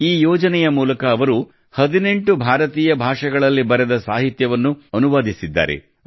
ಈ ಯೋಜನೆಯ ಮೂಲಕ ಅವರು 18 ಭಾರತೀಯ ಭಾಷೆಗಳಲ್ಲಿ ಬರೆದ ಸಾಹಿತ್ಯವನ್ನು ಅನುವಾದಿಸಿದ್ದಾರೆ